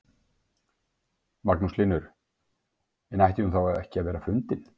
Magnús Hlynur: En ætti hún þá ekki að vera fundin?